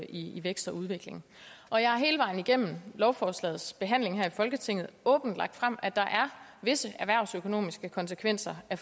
i vækst og udvikling og jeg har hele vejen igennem lovforslagets behandling her i folketinget åbent lagt frem at der er visse erhvervsøkonomiske konsekvenser af